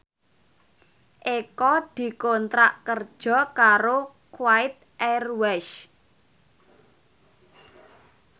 Eko dikontrak kerja karo Kuwait Airways